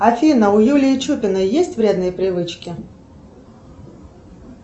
афина у юлии чупиной есть вредные привычки